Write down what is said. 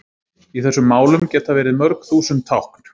Í þessum málum geta verið mörg þúsund tákn.